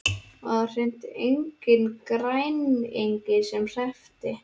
Og það var hreint enginn græningi sem hreppti.